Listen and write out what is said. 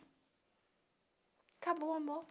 Acabou o amor.